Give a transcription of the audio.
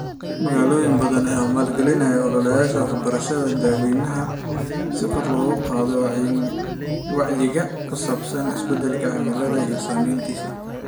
Magaalooyin badan ayaa maalgalinaya ololayaasha waxbarashada dadweynaha si kor loogu qaado wacyiga ku saabsan isbedelka cimilada iyo saameyntiisa.